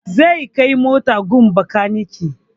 Zai kai motar gun bakaniki